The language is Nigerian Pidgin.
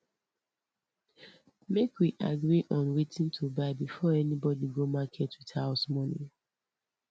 make we agree on wetin to buy before anybody go market with house money